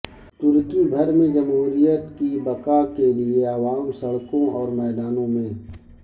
ترکی بھر میں جمہوریت کی بقا کے لیےعوام سڑکوں اور میدانوں میں